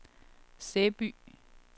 Sæby